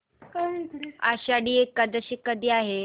आषाढी एकादशी कधी आहे